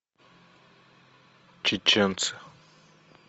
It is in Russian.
чеченцы